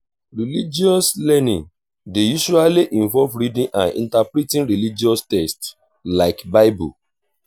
religious learning dey usually involve reading and interpreting religious text like bible